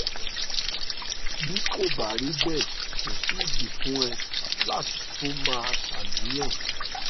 bí kò bá rí bẹ́ẹ̀ kò sí ìdí fún ẹ láti tún máa ṣàníyàn